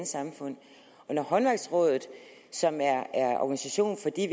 samfund når håndværksrådet som er organisation for de